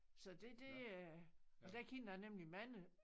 Så det det øh der kendte jeg nemlig mange